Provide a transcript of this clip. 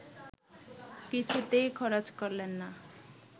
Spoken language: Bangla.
কিছুতেই খরচ করলেন না